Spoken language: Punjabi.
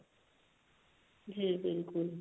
ਜੀ ਬਿਲਕੁਲ